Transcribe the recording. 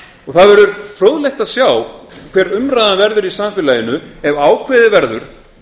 og það verður fróðlegt að sjá hver umræðan verður í samfélaginu ef ákveðið verður